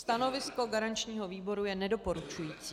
Stanovisko garančního výboru je nedoporučující.